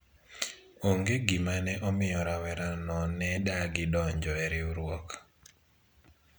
onge gima ne omiyo rawera no ne odagi donjo e riwruok